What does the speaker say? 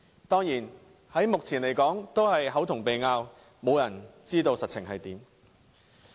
當然，目前只是"口同鼻拗"，沒有人知道實情為何。